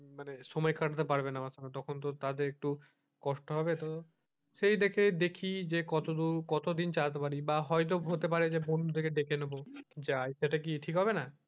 মানে সময় কাটাতে পারবে না আমার সঙ্গে তখন তো তাদের একটু কষ্ট হবে তো সেই দেখে দেখি যে কতদূর কতদিন চালাতে পারি বা হয়তো হবে পারে বন্ধুদের ডেকে নেবো যাই সেইটা কি ঠিক হবে না?